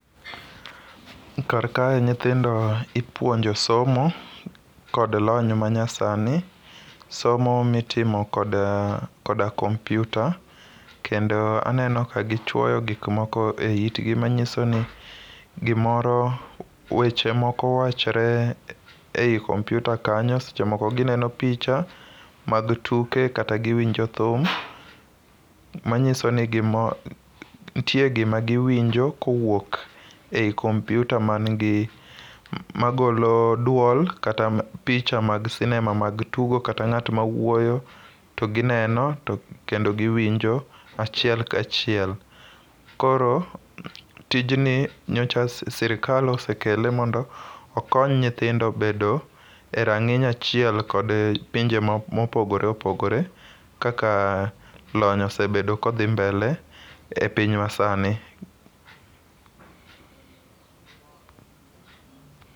Kar kae nyithindo ipuonjo somo kod lony manyasani, somo mitimo koda kompyuta kendo aneno ka gichwoyo gik moko e itgi manyiso ni weche moko wachore ei kompyuta kanyo, seche moko gineno picha mag tuke kata giwinjo thum, nitie gima giwinjo kowuok ei kompyuta magolo dwol kata picha mag sinema mag tugo kata ng'at mawuoyo to gineno kendo giwinjo achiel ka chiel. Koro tijni nyocha sirikal osekele mondo okony nyithindo bedo e rang'iny achiel kod pinje mopogore opogore kaka lony osebedo kodhi mbele e piny masani.